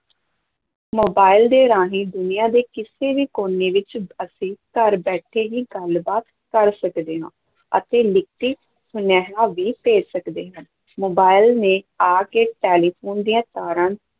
mobile ਦੇ ਰਾਹੀਂ ਦੁਨੀਆ ਦੋ ਕਿਸੇ ਵੀ ਕੋਨੇ ਵਿੱਚ ਅਸੀਂ ਘਰ ਬੈਠੇ ਹੀ ਗੱਲਬਾਤ ਕਰ ਸਕਦੇ ਹਾਂ ਅਤੇ ਲਿਖਤੀ ਸੁਨੇਹਾ ਵੀ ਭੇਜ ਸਕਦੇ ਹਾਂ, ਮੋਬਾਈਲ ਨੇ ਆ ਕੇ ਟੈਲੀਫ਼ੋਨ ਦੀਆਂ ਤਾਰਾਂ